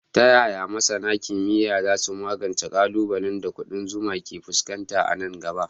Ta yaya masana kimiyya za su magance ƙalubalen da ƙudan zuma ke fuskanta a nan gaba?